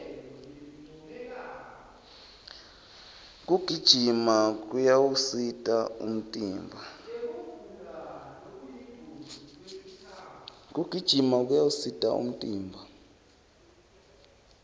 kugijima kuyawusita umtimba